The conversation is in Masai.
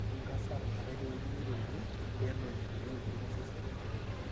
keidim cancer atamanai teweuji naiterunyie pelo inkulie weujitin osesen.